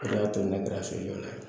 O de y'a to ne kɛra sojɔla ye